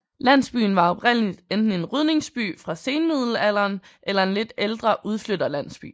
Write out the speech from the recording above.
Landsbyen var oprindeligt enten en rydningsby fra senmiddelalderen eller en lidt ældre udflytterlandsby